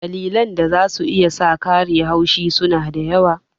Dalilan da za su iya sa kare haushi su na da yawa.